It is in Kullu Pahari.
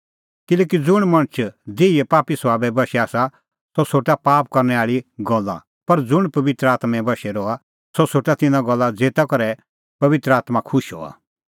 किल्हैकि ज़ुंण मणछ देहीए पापी सभाबे बशै आसा सह सोठा पाप करनै आल़ी गल्ला पर ज़ुंण पबित्र आत्में बशै रहा सह सोठा तिन्नां गल्ला ज़ेता करै पबित्र आत्मां खुश हआ